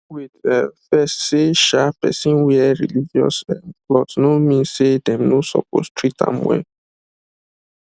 wait um first say um person wear religious um cloth no mean say dem no suppose treat am well